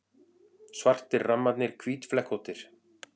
Svartir rammarnir hvítflekkóttir.